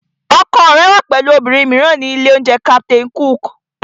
Ọkọ rẹ wà pẹ̀lú obìnrin mìíràn ní ilé-oúnjẹ Captain Cook